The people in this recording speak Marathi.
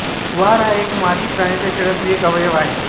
वार हा एक मादी प्राण्याच्या शरिरातील एक अवयव आहे